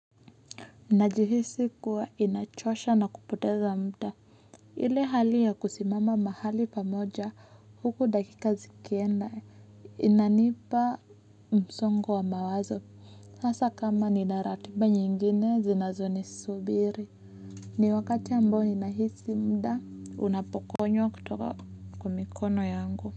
Najihisi kuwa inachosha na kupoteza muda. Ile hali ya kusimama mahali pamoja huku dakika zikienda inanipa msongo wa mawazo. Hasa kama nina ratiba nyingine zinazonisubiri. Ni wakati ambao ninahisi muda unapokonywa kutoka kwa mikono yangu.